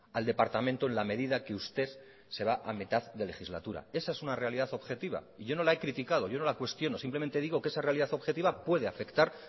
al departamento en la medida que usted se va a mitad de legislatura esa es una realidad objetiva y yo no la he criticado yo no la cuestiono simplemente digo que esa realidad objetiva puede afectar